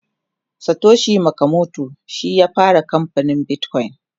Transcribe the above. Satoshi nakamoto shi ya fara kamfanin bitcoin